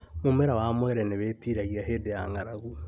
Mũmera wa mwere nĩwĩtiragia hĩndĩ ya ng'arang'u